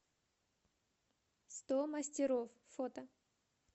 сто мастеров фото